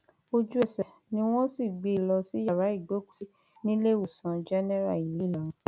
ojúẹsẹ ni wọn sì gbé e lọ sí yàrá ìgbọọkúsí níléemọsán jẹnẹra ìlú ìlọrin